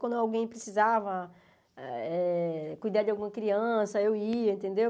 Quando alguém precisava eh cuidar de alguma criança, eu ia, entendeu?